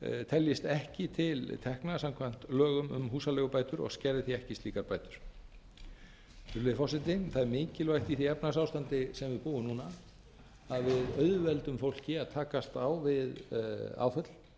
teljist ekki til tekna samkvæmt lögum um húsaleigubætur og skerði því ekki slíkar bætur virðulegi forseti það er mikilvægt í því efnahagsástandi sem við búum núna að auðvelda fólki að takast á við áföll með